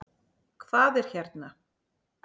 Hvað er hérna?